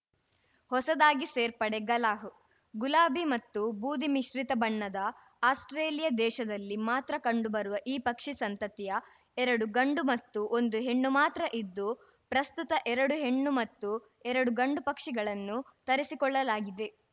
ಹೊಸದಾಗಿ ಸೇರ್ಪಡೆ ಗಾಲಾಹ್‌ ಗುಲಾಬಿ ಮತ್ತು ಬೂದಿ ಮಿಶ್ರಿತ ಬಣ್ಣದ ಆಸ್ಪ್ರೇಲಿಯ ದೇಶದಲ್ಲಿ ಮಾತ್ರ ಕಂಡು ಬರುವ ಈ ಪಕ್ಷಿ ಸಂತತಿಯ ಎರಡು ಗಂಡು ಮತ್ತು ಒಂದು ಹೆಣ್ಣು ಮಾತ್ರ ಇದ್ದು ಪ್ರಸ್ತುತ ಎರಡು ಹೆಣ್ಣು ಮತ್ತು ಎರಡು ಗಂಡು ಪಕ್ಷಿಗಳನ್ನು ತರಿಸಿಕೊಳ್ಳಲಾಗಿದೆ